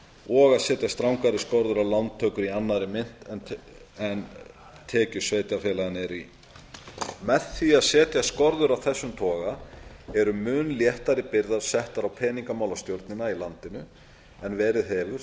og að setja strangari skorður um lántökur í annarri mynt en tekjur sveitarfélaganna eru í með því að setja skorður af þessum toga eru mun léttari byrðar settar á peningamálastjórnina í landinu en verið hefur